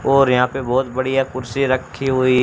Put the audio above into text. और यहाँ पे बहोत बढ़िया कुर्सी रखीं हुई--